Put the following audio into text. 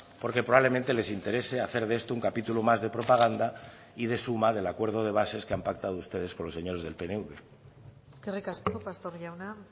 porque probablemente les interese hacer de esto un capítulo más de propaganda y de suma del acuerdo de bases que han pactado ustedes con los señores del pnv eskerrik asko pastor jauna